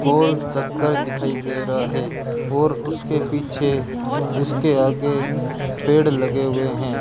गोल चक्कर दिखाई दे रहा है और उसके पीछे उसके आगे पेड़ लगे हुए हैं।